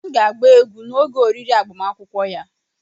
M ga-agba egwu n'oge oriri agbamakwụkwọ ya.